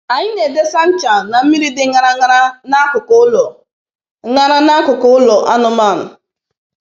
Anyị na-edese ncha na mmiri dị ṅara ṅara n'akụkụ ụlọ ṅara n'akụkụ ụlọ anụmanụ.